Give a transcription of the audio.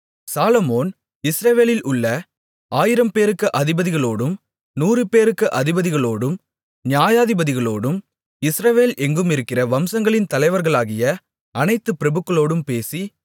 சாலொமோன் இஸ்ரவேலில் உள்ள ஆயிரம்பேருக்கு அதிபதிகளோடும் நூறுபேருக்கு அதிபதிகளோடும் நியாயாதிபதிகளோடும் இஸ்ரவேல் எங்குமிருக்கிற வம்சங்களின் தலைவர்களாகிய அனைத்துப் பிரபுக்களோடும் பேசி